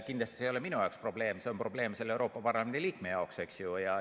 Kindlasti see ei ole minu jaoks probleem, see on probleem selle Euroopa Parlamendi liikme jaoks, eks ju.